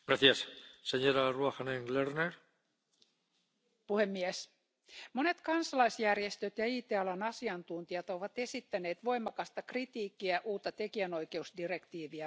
Arvoisa puhemies, monet kansalaisjärjestöt ja IT alan asiantuntijat ovat esittäneet voimakasta kritiikkiä uutta tekijänoikeusdirektiiviä vastaan.